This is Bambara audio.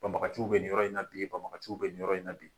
Banbaganciw bɛ nin yɔrɔ in na bi, banbaganciw bɛ nin yɔrɔ in na bi.